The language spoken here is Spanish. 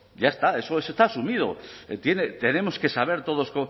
ya está eso está asumido tiene tenemos que saber todos